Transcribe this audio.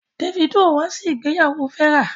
Davido wá sí ìgbéyàwó Vera.